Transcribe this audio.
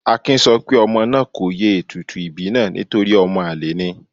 Akin sọ pé ọmọ náà kò ye ètùtù ìbí náà nítorí ọmọ àlè ni.